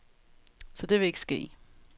Så det vil ikke ske.